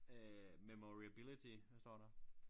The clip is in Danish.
Øh memoriability hvad står der